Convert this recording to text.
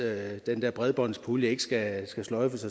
at den der bredbåndspulje ikke skal sløjfes